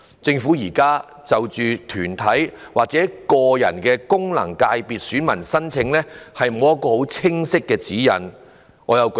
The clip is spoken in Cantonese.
政府現時就團體或個人的功能界別選民申請欠缺清晰的指引。